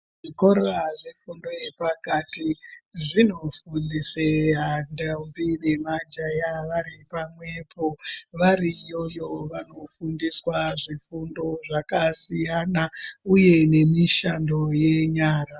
Zvikora zvefundo yepakati zvinofundise ndombi nemajaha vari pamwepo. Variiyoyo vanofundiswa zvifundo zvakasiyana, uye nemishando yenyara.